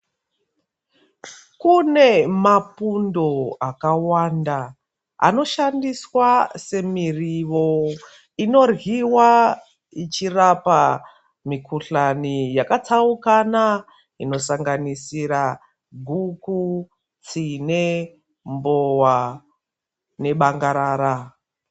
Kune mapundo akawanda, anoshandiswa semiriwo, inoryiwa ichirapa mikhuhlani yakatsaukana inosanganisira guku, tine mbowa nebangarara.